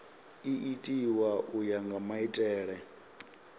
itiwa u ya nga maitele